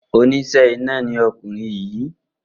Oníṣẹ́ iná ni ọkùnrin yìí.